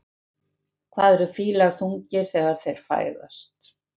Hvað eru fílar þungir þegar þeir fæðast?